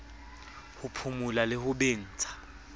ho phumula le ho bentsha